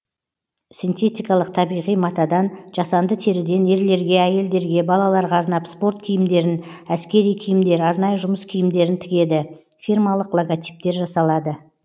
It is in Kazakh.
синтетикалық табиғи матадан жасанды теріден ерлерге әйелдерге балаларға арнап спорт киімдерін әскери киімдер арнайы жұмыс киімдерін тігеді фирмалық логотиптер жасалады